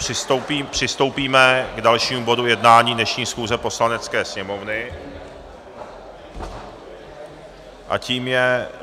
Přistoupíme k dalšímu bodu jednání dnešní schůze Poslanecké sněmovny a tím je